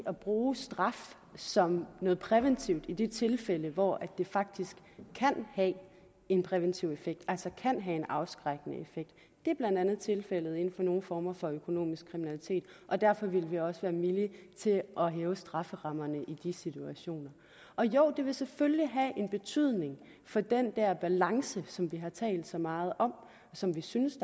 at bruge straf som noget præventivt i de tilfælde hvor det faktisk kan have en præventiv effekt altså kan have en afskrækkende effekt det er blandt andet tilfældet inden for nogle former for økonomisk kriminalitet og derfor vil vi også være villige til at hæve strafferammerne i de situationer og ja det vil selvfølgelig have en betydning for den der balance som vi har talt så meget om og som vi synes